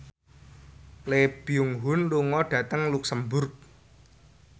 Lee Byung Hun lunga dhateng luxemburg